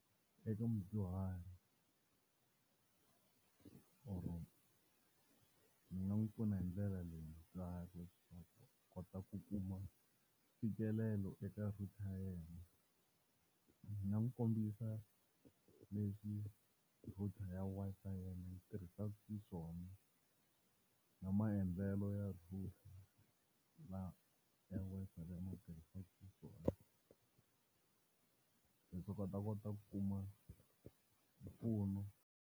Eka mudyuhari or ni nga n'wi pfuna hindlela leyi, mudyuhari ku kota ku kuma fikelelo eka router ya yena, ni nga n'wi kombisa leswi router ya Wi-Fi ya mina yi tirhisaka xiswona na maendlelo ya router ya Wi-Fi leyi ni yi tirhisaka xiswona. va ta kona ku kuma mpfuno.